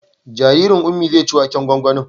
Jaririn Ummi zai ci waken gwangwanin